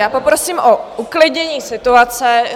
Já poprosím o uklidnění situace.